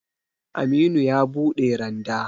Aminu ya buɗe randa